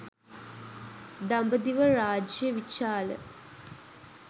දඹදිව රාජ්‍ය විචාල